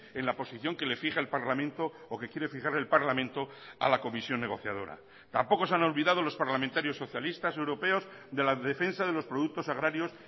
en la posición que le fija el parlamento o que quiere fijarle el parlamento a la comisión negociadora tampoco se han olvidado los parlamentarios socialistas europeos de la defensa de los productos agrarios